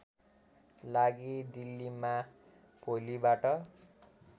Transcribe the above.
लागि दिल्लीमा भोलिबाट